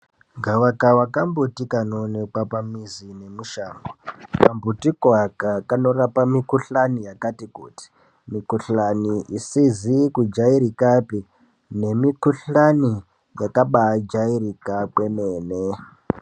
Gavakava kambiti kanooneka pamuzi nemushango. Kambiti koaka kanorapa mikuhlani yakati kuti. Mikuhlani isizi kujairikapi nemikuhlani yakaba jairika kwemene.